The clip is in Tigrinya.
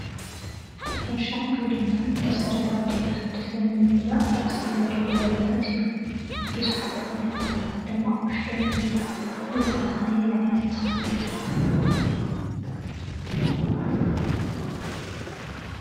ሕርሻን ግብርናን መሰረታዊ ድልየት ወዲ ሰብ ንምምላእ ካብ ዝክየዱ ክያዶታት እዮም፡፡ ቡዙሓት ዓይነታት ተክሊ ድማ ኣብ ውሽጦም ይሕዙ ፡፡እዚ ከ ነየናይ ዓይነት ተክሊ ይውክል?